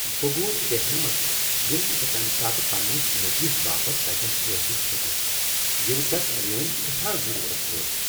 بہٕ گوس بےٚ ہٮ۪متھ ییٚلہ نہٕ بہٕ تمہ ساتہٕ پنٛنس نیٚچوس باپت تتین ٲسِتھ ہِیوكٗس یٚلہ تس مِیٲنہِ سیٹھاہ ضروٗرت ٲس ۔